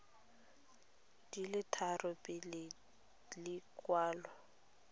di le tharo pele lekwalo